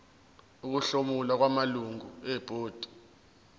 ukuhlomula kwamalungu ebhodi